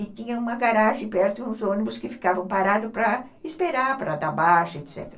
E tinha uma garagem perto e uns ônibus que ficavam parados para esperar, para dar baixa, etc.